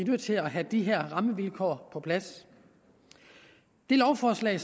nødt til at have de her rammevilkår på plads det lovforslag